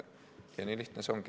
Ja nii lihtne see ongi.